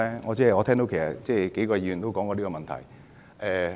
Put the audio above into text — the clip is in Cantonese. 我聽到有數位議員曾提及這問題。